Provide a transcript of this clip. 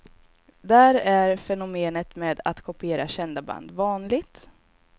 Där är fenomenet med att kopiera kända band vanligt.